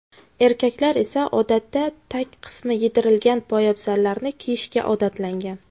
Erkaklar esa odatda tag qismi yedirilgan poyabzallarni kiyishga odatlangan.